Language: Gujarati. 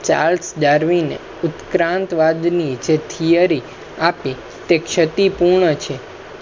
charles darwin ઉત્ક્રાંતિ ની જે theory આપી તે ષતિપૂર્ણ છે